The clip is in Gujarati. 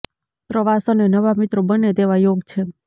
પ્રવાસ અને નવા મિત્રો બને તેવા યોગ છે